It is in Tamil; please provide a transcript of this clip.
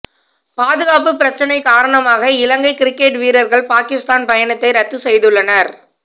பாதுகாப்பு பிரச்சனை காரணமாக இலங்கை கிரிக்கெட் வீரர்கள் பாகிஸ்தான் பயணத்தை ரத்து செய்துள்ளனர்